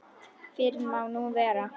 Fyrr má nú vera!